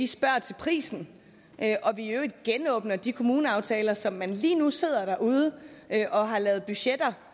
spørger til prisen og vi i øvrigt genåbner de kommuneaftaler som man lige nu sidder derude og har lavet budgetter